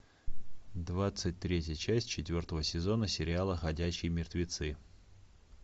двадцать третья часть четвертого сезона сериала ходячие мертвецы